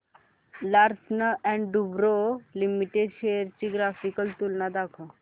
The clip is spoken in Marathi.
लार्सन अँड टुर्बो लिमिटेड शेअर्स ची ग्राफिकल तुलना दाखव